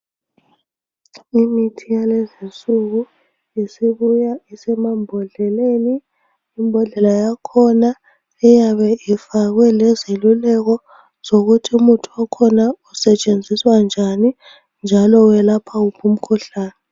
Imithi yalezinsuku isibuya isemambodleleni. Imbodlela yakhona iyabe ifakwe lezeluleko zokuthi umuthi okhona usetshenziswa njani njalo welapha wuphi umkhuhlane.